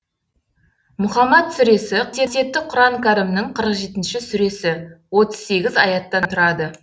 мұһаммәд сүресі қасиетті құран кәрімнің қырық жетінші сүресі отыз сегіз аяттан тұрады